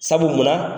Sabu munna